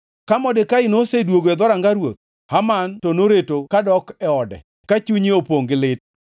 Ka Modekai noseduogo e dhoranga ruoth. Haman to noreto kadok e ode, ka chunye opongʼ gi lit,